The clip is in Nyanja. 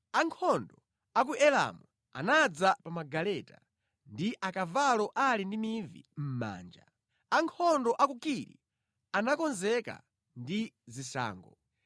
Ankhondo a ku Elamu anadza pa magaleta ndi akavalo ali ndi mivi mʼmanja. Ankhondo a ku Kiri anakonzeka ndi zishango.